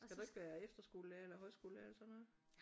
Skal du ikke være efterskolelærer eller højskolelærer eller sådan noget